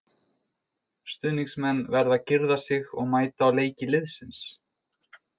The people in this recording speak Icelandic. Stuðningsmenn verða að girða sig og mæta á leiki liðsins.